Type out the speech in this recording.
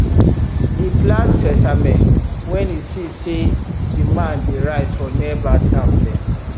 e plant sesame when e see say demand dey rise for nearby town dem